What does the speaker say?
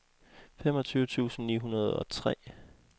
femogtyve tusind ni hundrede og tre